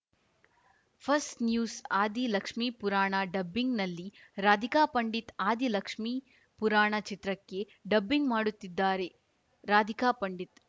ಫಸ್‌ news Aadi Lakshmi Purana ಡಬ್ಬಿಂಗ್‌ನಲ್ಲಿ ರಾಧಿಕಾ ಪಂಡಿತ್‌ ಆದಿ ಲಕ್ಷ್ಮೀ ಪುರಾಣ ಚಿತ್ರಕ್ಕೆ dubbing ಮಾಡುತ್ತಿದ್ದಾರೆ ರಾಧಿಕಾ ಪಂಡಿತ್‌